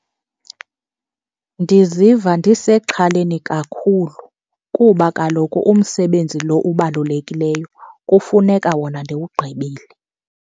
Ndiziva ndisexhaleni kakhulu kuba kaloku umsebenzi lo ubalulekileyo kufuneka wona ndiwugqibile.